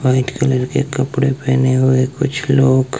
white colour के कपड़े पहने हुए कुछ लोग--